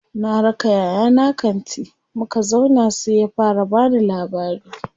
Na raka yayana kanti, muka zauna sai ya fara bani labari.